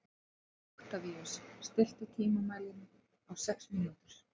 Oktavíus, stilltu tímamælinn á sex mínútur.